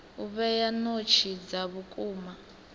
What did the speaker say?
u vhea notsi dza vhukuma